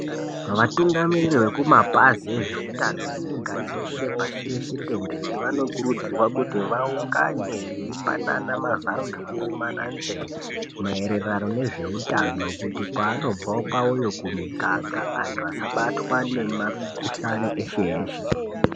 Vatungamiriri vekumapazi ezveutano nyika yeshe, pashi reshe tenderere, vanokurudzirwa kuti vaungane veipanana mazano nekurumana nzeve maererano nezveutano kuti kwaanobva kwaoyo kumuganga antu asabatwa ngemakhuhani eshe eshe.